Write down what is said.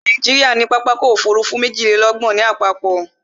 Nàìjíríà ní pápákọ̀ ọ̀kọ òfurufú méjìlélọ́gbọ̀n lápapọ̀